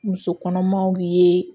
Muso kɔnɔmaw ye